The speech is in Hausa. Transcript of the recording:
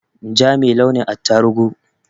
Ja me launin attaruhu